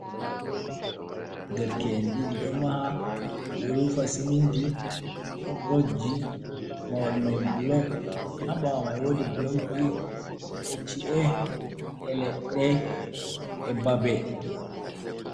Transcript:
Nderke en ɗiɗi ɗo maha. Ɓeɗo rufa siminti, ɗon rokji mahol mai bulok. Haa ɓaawo mai wodi bulokji, e ci'e, leɗɗe, e babe.